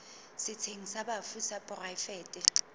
setsheng sa bafu sa poraefete